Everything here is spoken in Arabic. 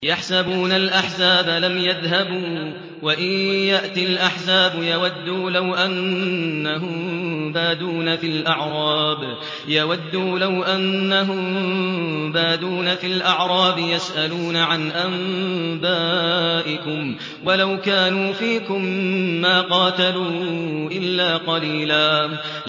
يَحْسَبُونَ الْأَحْزَابَ لَمْ يَذْهَبُوا ۖ وَإِن يَأْتِ الْأَحْزَابُ يَوَدُّوا لَوْ أَنَّهُم بَادُونَ فِي الْأَعْرَابِ يَسْأَلُونَ عَنْ أَنبَائِكُمْ ۖ وَلَوْ كَانُوا فِيكُم مَّا قَاتَلُوا إِلَّا قَلِيلًا